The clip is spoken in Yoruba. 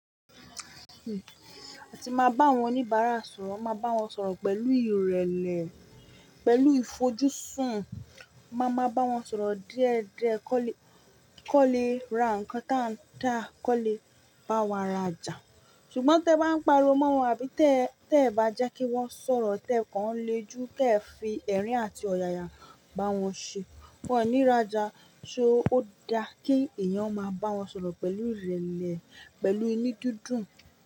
A ti máa bá àwọn oníbàárà sọ̀rọ̀, n máa bá wọn sọ̀rọ̀ pẹ̀lú ìrẹ̀lẹ̀, pẹ̀lú ìfojúsùn, má máa bá wọn sọ̀rọ̀ díẹ̀ díẹ̀ kọ́ le, kọ́ le ra nǹkan táa ń dá, kọ́ le bá wa rajà. Ṣùgbọ́n tẹ bá ń pariwo mọ́ wọn àbí tẹ, tẹ e bá jẹ́ kí wọ́n sọ̀rọ̀ tẹ́ ẹ kàn lè ju tẹ fi ẹ̀rín àti ọ̀yàyà bá wọn ṣé, wọ́n ò ní rájà. Ṣé ó da kí èèyàn máa bá wọn sọ̀rọ̀ pẹ̀lú ìrẹ̀lẹ̀, pẹ̀lú ìnudídùn?